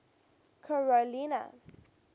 carolina